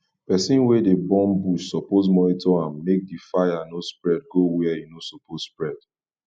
persin wey de burn bush suppose monitor am make di fire no spread go where e no suppose spread